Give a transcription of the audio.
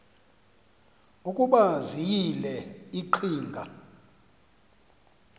ukuba ziyile iqhinga